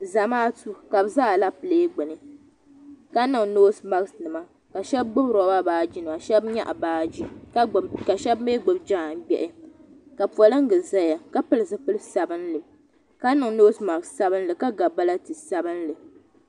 Zamaatu ka bɛ za alepile gbuni ka niŋ noosi maakinima ka shɛba gbubi roba baajinima ka shɛba nyaɣi baaji ka shɛba mi gbubi jaangbɛhi ka poliŋgi zaya ka pili zipili sabinli ka niŋ noosi maaki sabinli ka ga baliti sabinli.